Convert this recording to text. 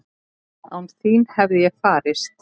Án þín hefði ég farist?